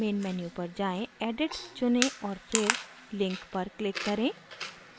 main menu पर जाएँ edit चुनें और फिर link पर click करें